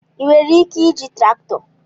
Ị nwere ike iji traktọ?